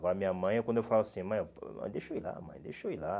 Agora, minha mãe, eu quando eu falava assim, mãe, eu deixa eu ir lá, mãe, deixa eu ir lá.